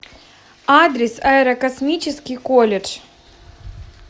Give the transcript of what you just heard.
адрес аэрокосмический колледж